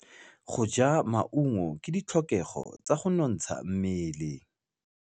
Go ja maungo ke ditlhokegô tsa go nontsha mmele.